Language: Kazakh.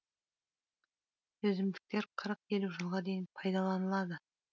жүзімдіктер қырық елу жылға дейін пайдаланылады